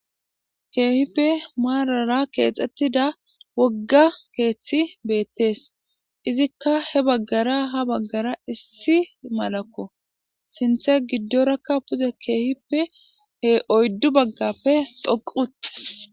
Keehippe maarara keexettida wogga keeththi beettees izikka he baggara ha baggara issi malakko sinthe giddorakka pude keehippe he oyddu baggappe doquti.